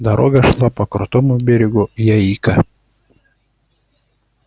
дорога шла по крутому берегу яика